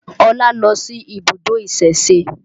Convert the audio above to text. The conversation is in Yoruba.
Ọlá lọ sí ibùdó ìsẹ̀se